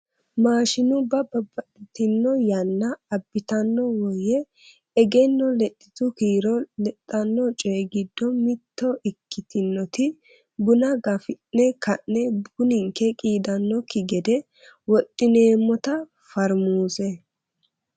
maashinubba babbaxitino yanna abitanno woye egenno lexitu kiiro ledhanno coyi giddo mitto ikkitinoti buna gafi'ne ka'ne buninke qiidanokki gede wodhineemota farmuuse.